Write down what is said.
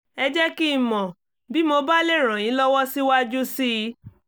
ẹ jẹ́ kí n mọ̀ bí mo bá lè ràn yín lọ́wọ́ síwájú sí i